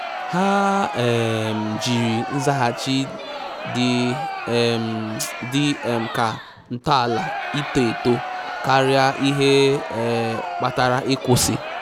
Ha um jiri nzaghachi dị um dị um ka ntọala ito eto karịa ihe um kpatara ịkwụsị